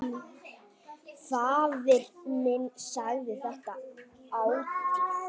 Faðir minn sagði þetta ætíð.